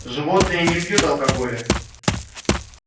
животные не пьют алкоголя